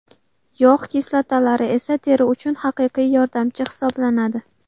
Yog‘ kislotalari esa teri uchun haqiqiy yordamchi hisoblanadi.